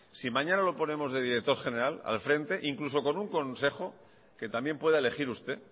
si mañana lo ponemos de director general al frente incluso con un consejo que también pueda elegir usted